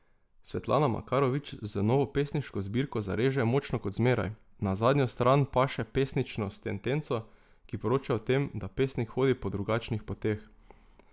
Svetlana Makarovič z novo pesniško zbirko zareže močno kot zmeraj, na zadnjo stran paše pesničino sentenco, ki poroča o tem, da pesnik hodi po drugačnih poteh.